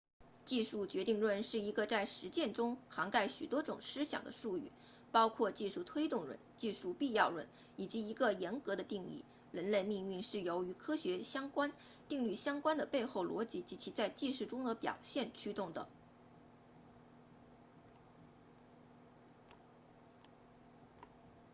技术决定论是一个在实践中涵盖许多种思想的术语包括技术推动论技术必要论以及一个严格的定义人类命运是由与科学定律相关的背后逻辑及其在技术中的表现驱动的